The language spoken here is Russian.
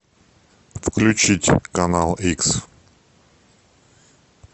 включить канал икс